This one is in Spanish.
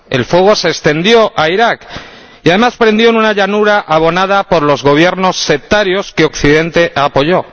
El fuego se extendió a Irak y, además, prendió en una llanura abonada por los Gobiernos sectarios que Occidente apoyó.